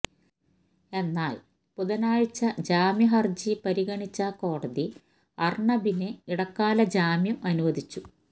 എന്നാല് ബുധനാഴ്ച്ച ജാമ്യഹര്ജി പരിഗണിച്ച കോടതി അര്ണബിന് ഇടക്കാല ജാമ്യം അനുവദിച്ചു